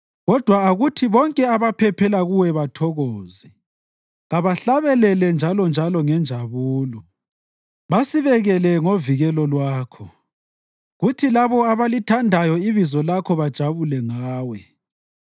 Kodwa akuthi bonke abaphephela kuwe bathokoze; kabahlabelele njalonjalo ngenjabulo. Basibekele ngovikelo lwakho, kuthi labo abalithandayo ibizo lakho bajabule ngawe.